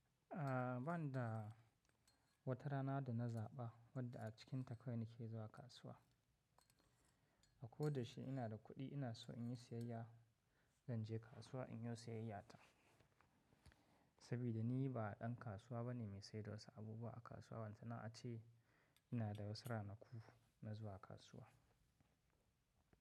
A ba'ni da wata rana da na zaɓa wadda a cikinta kawai nake zuwa kasuwa. Akoda yaushe ina da kuɗi ina so in yi sayayya, zan je kasuwa in yo sayayyata. Saboda ni ba ɗan kasuwa bane mai saida wasu abubuwa a kasuwa balanta na ace ina da wasu ranaku na zuwa kasuwa.